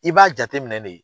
I b'a jateminɛ de